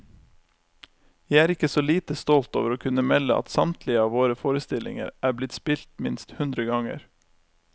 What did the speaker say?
Jeg er ikke så lite stolt over å kunne melde at samtlige av våre forestillinger er blitt spilt minst hundre ganger.